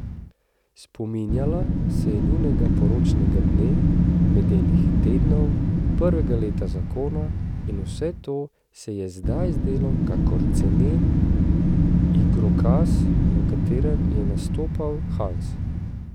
Spominjala se je njunega poročnega dne, medenih tednov, prvega leta zakona, in vse to se ji je zdaj zdelo kakor cenen igrokaz, v katerem je nastopal Hans.